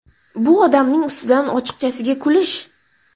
Bu odamning ustidan ochiqchasiga kulish.